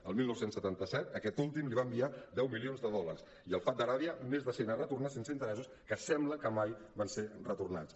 el dinou noranta set aquest últim li va enviar deu milions de dòlars i fahd d’aràbia més de cent a retornar sense interessos que sembla que mai van ser retornats